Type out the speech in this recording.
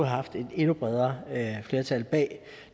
haft et endnu bredere flertal bag